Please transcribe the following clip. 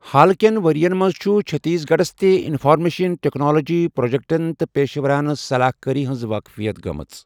حالکٮ۪ن ؤرِین منٛز چُھ چٔھتیٖس گَڑھس تہِ اِنفارمیشن ٹیٚکنالجی پرٛوجیٚکٹن تہٕ پیشہٕ وَرانہٕ صلاح کٲری ہِنٛز وٲقفِیت گٲمژ۔